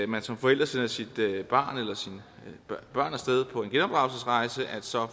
man som forælder sender sit barn eller sine børn af sted på en genopdragelsesrejse så